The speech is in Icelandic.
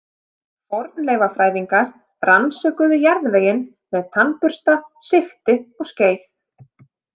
Fornleifafræðingar rannsökuðu jarðveginn með tannbursta, sigti og skeið.